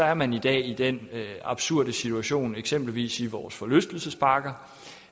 er man i dag i den absurde situation i eksempelvis vores forlystelsesparker